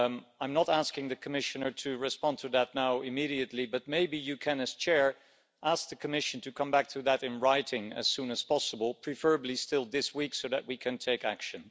I'm not asking the Commissioner to respond to that immediately, but maybe you can, as President, ask the Commission to come back to that in writing as soon as possible, preferably still this week so that we can take action.